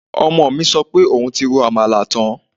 Ọmọ mi sọ pé òun ti ro àmàlà tán